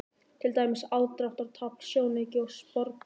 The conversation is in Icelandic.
Til dæmis: aðdráttarafl, sjónauki og sporbaugur.